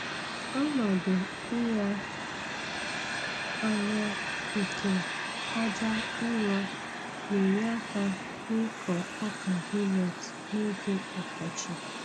Ọnọdụ ịnya anya nke aja ụrọ na-enye aka n'ịkọ ọka milet n'oge ọkọchị.